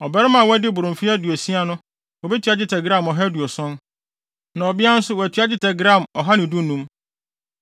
Ɔbarima a wadi boro mfe aduosia no wobetua dwetɛ gram ɔha aduoson (170); na ɔbea nso wɔatua dwetɛ gram ɔha ne dunum (115).